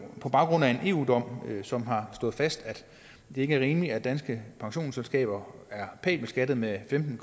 på baggrund af en eu dom som har slået fast at det ikke er rimeligt at danske pensionsselskaber er pænt beskattet med femten